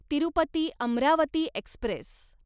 Tirupati Amravati Express